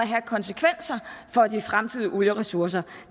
have af konsekvenser for de fremtidige olieressourcer